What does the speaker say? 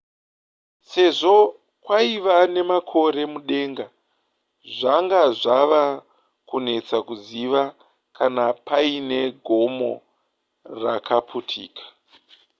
sezvo kwaiva nemakore mudenga zvanga zvava kunetsa kuziva kana paine gomo rakaputika